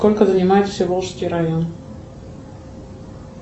сколько занимает всеволжский район